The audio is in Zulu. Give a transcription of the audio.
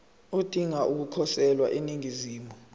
odinga ukukhosela eningizimu